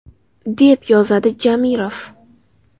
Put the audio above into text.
!”,– deb yozadi Jamirov.